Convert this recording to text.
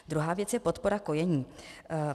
Druhá věc je podpora kojení.